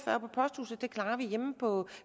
på